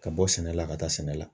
Ka bɔ sɛnɛ la ka taa sɛnɛ la